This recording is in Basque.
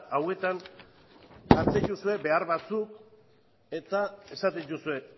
hauetan jartzen dituzue behar batzuk eta esaten dituzue